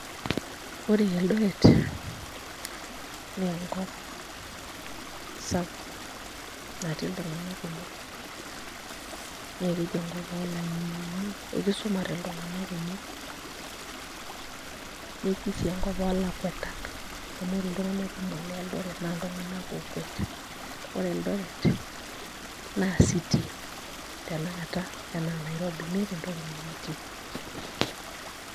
Ore Eldoret naa enkop sapuk natii iltung'anak kumok naa keji enkop oolang'eni amu kisumate iltung'anak kumok neji sii enkop oolakuetak amu ore iltung'anak kumok le Eldoret naa iltung'anak ookwet, ore Eldoret naa city tenakata enaa Nairobi meeta entoki nemetii.